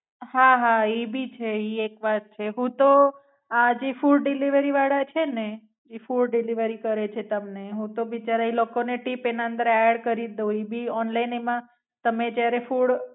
હા, હા. એ ભી છે ઈ એક વાત છે. હું તો આ જે ફુડ વાળા છે ને જે Food delivery કરે છે તમને હું તો બિચારા ઈ લોકો ને ટીપ એના અંદર એડ્ડ કરી જ દઉં. ઈ ભી ઓનલાઇન એમાં તમે જયારે ફુડ